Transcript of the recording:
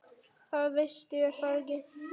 Það veistu er það ekki?